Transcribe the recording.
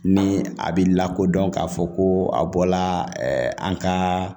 Ni a bi lakodɔn k'a fɔ ko a bɔla ɛɛ an ka